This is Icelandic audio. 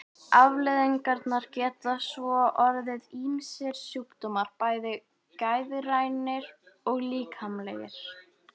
Afleiðingarnar geta svo orðið ýmsir sjúkdómar, bæði geðrænir og líkamlegir.